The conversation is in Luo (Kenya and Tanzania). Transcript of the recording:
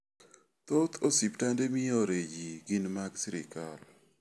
Thoth osiptande miore ji gin mag sirkal.